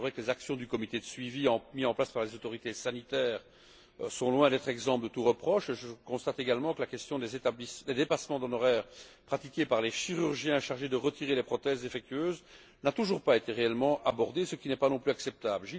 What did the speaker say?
Il est vrai que les actions du comité de suivi mises en place par les autorités sanitaires sont loin d'être exemptes de tout reproche. Je constate également que la question des dépassements d'honoraires pratiqués par les chirurgiens chargés de retirer les prothèses défectueuses n'a toujours pas été réellement abordée, ce qui n'est pas non plus acceptable.